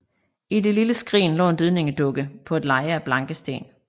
I det lille skrin lå en dødningedukke på et leje af blanke sten